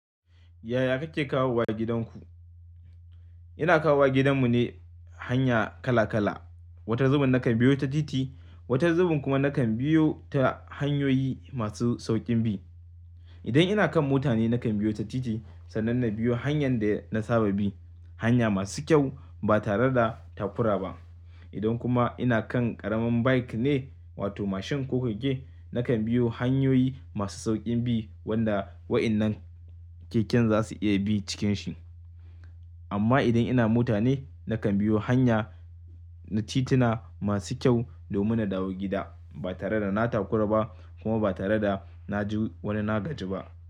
Yaya kake kawowa gidanku? Ina kawowa gidan mu ne hanya kala-kala. Wata zubin nakan biyo ta titi, wata zubin kuma nakan biyo ta hanyoyi masu sauƙin bi. Idan ina kan mota ne nakan biyo ta titi, sannan na biyo hanyar da na saba bi, hanya masu kyau ba tare da takura ba. Idan kuma ina kan ƙaramin bike ne wato mashin kokage, nakan biyo hanyoyi masu sauƙin bi wanda waɗannan keken za su iya bi cikin shi. Amma idan ina mota ne, nakan biyo hanya na tituna masu kyau domin na dawo gida ba tare da na takura ba kuma ba tare da na ji wani nagari ba.